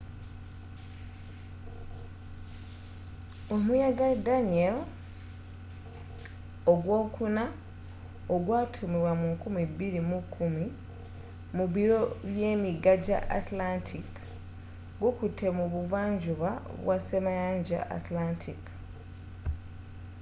omuyaga danielle ogwookuna ogwatuumibwa mu 2010 mu biro byemiyaga gya atlantic gukutte mu buvanjuba bwa ssemayanja atlantic